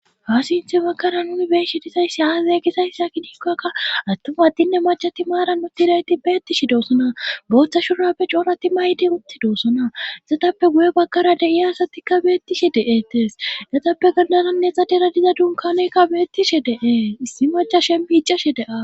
Ha sinthe makara nuni beeshi disayssi haazay gisayssa kidikkakka attuma adtinne macati maara nutidayti beettishi dosona booththa shurappe coorati maydi utti doosona issatappe guye bakara dei asatikka beettishe de7etes gatappe gandananne xa dera diza dunkanoykka beettishe deee issi maca shembiicashe dea.